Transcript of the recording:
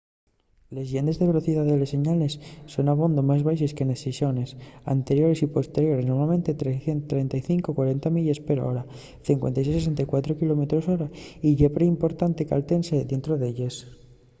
les llendes de velocidá de les señales son abondo más baxes que nes seiciones anteriores y posteriores —normalmente 35-40 milles per hora 56-64 km/h —y ye perimportante caltenese dientro d’elles